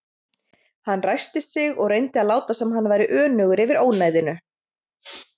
Hann ræskti sig og reyndi að láta sem hann væri önugur yfir ónæðinu.